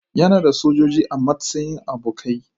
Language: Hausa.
Yana da sojoji a matsayin abokai.